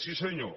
sí senyor